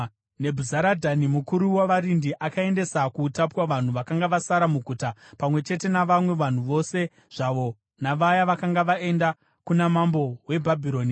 Nebhuzaradhani mukuru wavarindi akaendesa kuutapwa vanhu vakanga vasara muguta, pamwe chete navamwe vanhu vose zvavo navaya vakanga vaenda kuna mambo weBhabhironi.